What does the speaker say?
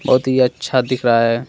बहुत ही अच्छा दिख रहा है।